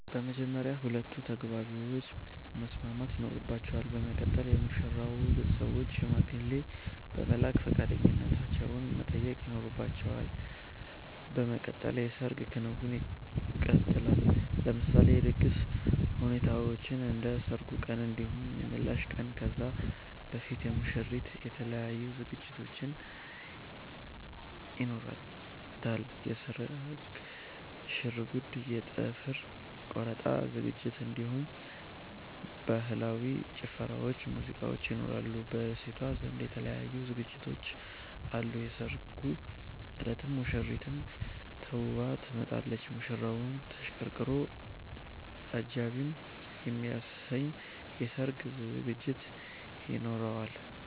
በመጀመርያ ሁለቱ ተጋቢዎች መስማማት ይኖርባቸል በመቀጠል የሙሽራዉ ቤተሰቦች ሽማግሌ በመላክ ፈቃደኛነታቸዉን መጠየቅ ይኖርባቸዋል በመቀጠል የሰርግ ክንዉኑ ይቀጥላል። ለምሳሌ የድግስ ሁኔታዎችን እንደ ሰርጉ ቀን እንዲሁም የምላሽ ቀን ከዛ በፊት የሙሽሪት የተለያዩ ዝግጅቶች ይኖሯታል የስርግ ሽርጉድ የ ጥፍር ቆረጣ ዝግጅት እንዲሁም በህላዊ ጭፈራዎች ሙዚቃዎች ይኖራሉ። በሴቷ ዘንድ የተለያዩ ዝግጅቶች አሉ የሰርጉ እለትም ሙሽሪት ተዉባ ትወጣለች። ሙሽራዉም ተሽቀርቅሮ አጃኢብ የሚያሰኝ የሰርግ ዝግጅት ይኖራቸዋል